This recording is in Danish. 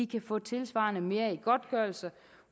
kan få tilsvarende mere i godtgørelse